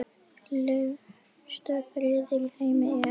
Lengstu firðir í heimi eru